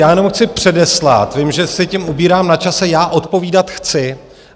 Já jenom chci předeslat, vím, že si tím ubírám na čase - já odpovídat chci.